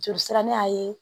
Joli sira ne y'a ye